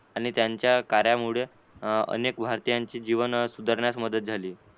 आणि त्यांच्या कार्यामुळे अनेक अं भारतीयांचे जीवन सुधारण्यास मदत झाली.